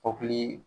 Kɔkili